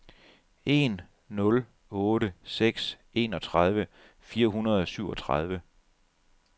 en nul otte seks enogtredive fire hundrede og syvogtredive